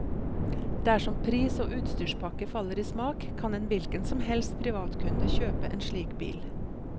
Dersom pris og utstyrspakke faller i smak, kan en hvilken som helst privatkunde kjøpe en slik bil.